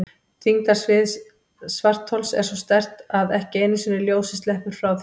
Þyngdarsvið svarthols er svo sterkt að ekki einu sinni ljósið sleppur frá því.